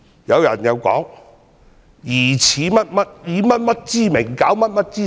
有人說，疑似以甚麼之名，攪甚麼之實。